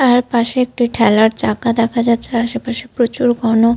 আর পাশে একটি ঠেলার চাকা দেখা যাচ্ছে আর আশেপাশে প্রচুর ঘন --